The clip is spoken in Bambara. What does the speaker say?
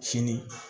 Fini